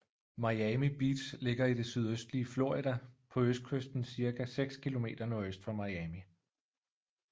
Miami Beach ligger i det sydøstlige Florida på østkysten cirka 6 kilometer nordøst for Miami